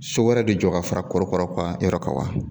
So wɛrɛ de jɔ ka fara korokaraw yɔrɔ kan wa ?